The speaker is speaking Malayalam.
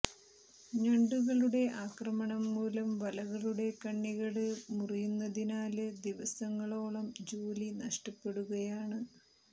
ഞണ്ടുകളുടെ ആക്രമണം മൂലം വലകളുടെ കണ്ണികള് മുറിയുന്നതിനാല് ദിവസങ്ങളോളം ജോലി നഷ്ടപ്പെടുകയാണ്